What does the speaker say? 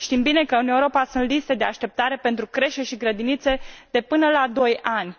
Știm bine că în Europa sunt liste de așteptare pentru creșe și grădinițe, de până la 2 ani.